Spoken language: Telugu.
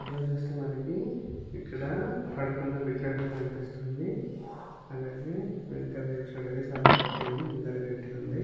ఈ ఫోటో లో చూస్తే మనకి ఇక్కడ పడుకున్న విగ్రహం కనిపిస్తుంది అండ్ అలాగే వెనకాల చేసినట్టయితే చాల గడ్డి ఉంది ముందర గడ్డి ఉంది.